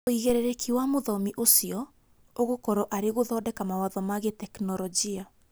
Uigĩrĩrĩki wa mũthomi ũcio ũgũkorwo arĩ gũthondeka mawatho ma gĩteknolojia